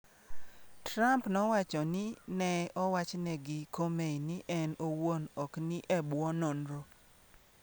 Trump nowacho ni ne owachne gi Comey ni en owuon ok ni e bwo nonro,